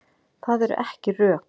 Það eru ekki rök.